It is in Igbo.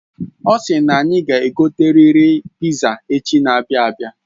Osi na anyị ga egoteriri piza echi n'abia abia